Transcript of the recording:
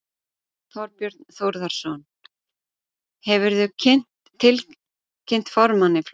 Þorbjörn Þórðarson: Hefurðu tilkynnt formanni flokksins formlega um úrsögnina úr flokknum?